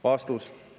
" Vastus.